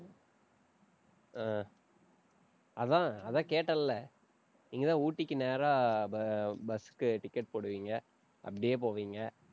அஹ் அதான், அதான் கேட்டேன்ல்ல? நீங்கதான் ஊட்டிக்கு நேரா bu~ bus க்கு ticket போடுவீங்க அப்படியே போவீங்க.